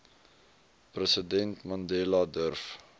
president mandela durf